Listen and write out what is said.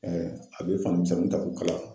a bɛ fanimisɛnninw ta k'u kala.